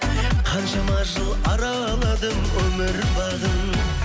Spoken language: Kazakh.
қаншама жыл араладым өмір бағын